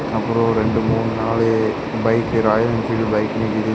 அப்பறம் ரெண்டு மூணு நாலு பைக் ராயல் என்ஃபீல்டு பைக்கு நிக்கிது.